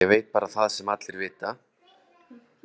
Ég veit bara það sem allir vita.